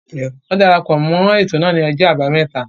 Won darapọ̀ mọ́ ètò náà ni ọjọ́ àbámẹ́ta.